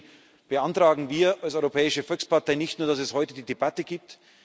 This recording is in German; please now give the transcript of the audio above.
Deswegen beantragen wir als Europäische Volkspartei nicht nur, dass es heute die Debatte gibt